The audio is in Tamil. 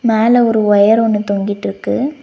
மேல ஒரு ஒயர் ஒன்னு தொங்கிட்ருக்கு.